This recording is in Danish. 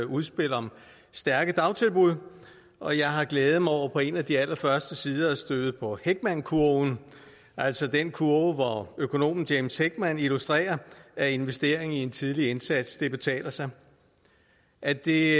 udspil om stærke dagtilbud og jeg har glædet mig over på en af de allerførste sider at støde på heckmankurven altså den kurve hvor økonomen james heckman illustrerer at investering i en tidlig indsats betaler sig at det